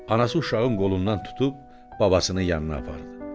Anası uşağın qolundan tutub, babasının yanına apardı.